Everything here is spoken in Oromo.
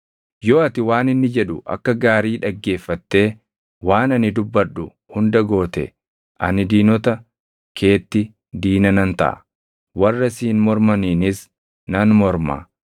Yoo ati waan inni jedhu akka gaarii dhaggeeffatee waan ani dubbadhu hunda goote, ani diinota keetti diina nan taʼa; warra siin mormaniinis nan morma.